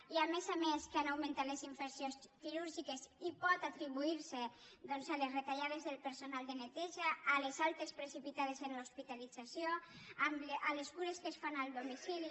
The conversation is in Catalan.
i a més a més que han augmentat les infeccions quirúrgiques i pot atribuir se a les retallades del personal de neteja a les altes precipitades en l’hospitalització a les cures que es fan al domicili